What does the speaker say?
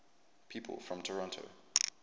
people from toronto